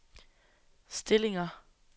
stillinger